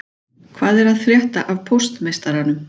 Hvað er að frétta af póstmeistaranum